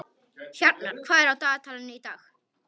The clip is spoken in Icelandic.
Hjarnar, hvað er á dagatalinu í dag?